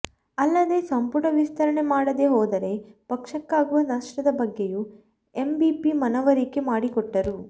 ಅಲ್ಲದೆ ಸಂಪುಟ ವಿಸ್ತರಣೆ ಮಾಡದೆ ಹೋದರೆ ಪಕ್ಷಕ್ಕಾಗುವ ನಷ್ಟದ ಬಗ್ಗೆಯೂ ಎಂಬಿಪಿ ಮನವರಿಕೆ ಮಾಡಿಕೊಟ್ಟರು